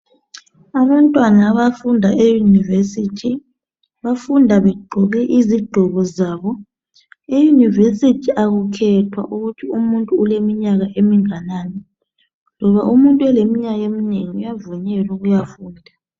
Abantwana abafunda eYunivesi bafunda begqoke izigqoko zabo. EYunivesi akukhethwa ukuhthi umuntu uleminyaka eminganani, umuntu oleminyaka eminengi uyavunyelwa ukuyafunda.